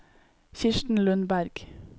Kirsten Lundberg